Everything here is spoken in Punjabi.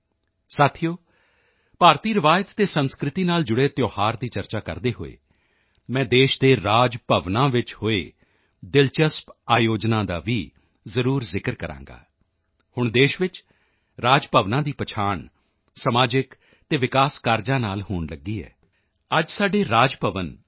ਸਾਥੀਓ ਭਾਰਤੀ ਰਵਾਇਤ ਅਤੇ ਸੰਸਕ੍ਰਿਤੀ ਨਾਲ ਜੁੜੇ ਤਿਓਹਾਰ ਦੀ ਚਰਚਾ ਕਰਦੇ ਹੋਏ ਮੈਂ ਦੇਸ਼ ਦੇ ਰਾਜ ਭਵਨਾਂ ਵਿੱਚ ਹੋਏ ਦਿਲਚਸਪ ਆਯੋਜਨਾਂ ਦਾ ਵੀ ਜ਼ਰੂਰ ਜ਼ਿਕਰ ਕਰਾਂਗਾ ਹੁਣ ਦੇਸ਼ ਵਿੱਚ ਰਾਜ ਭਵਨਾਂ ਦੀ ਪਹਿਚਾਣ ਸਮਾਜਿਕ ਅਤੇ ਵਿਕਾਸ ਕਾਰਜਾਂ ਨਾਲ ਹੋਣ ਲਗੀ ਹੈ ਅੱਜ ਸਾਡੇ ਰਾਜ ਭਵਨ ਟੀ